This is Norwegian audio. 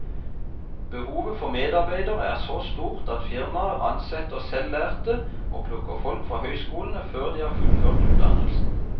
Behovet for medarbeidere er så stort at firmaer ansetter selvlærte og plukker folk fra høyskolene før de har fullført utdannelsen.